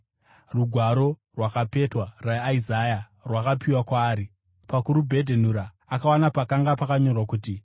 Rugwaro rwakapetwa rwaIsaya rwakapiwa kwaari. Pakurubhedhenura, akawana pakanga pakanyorwa kuti: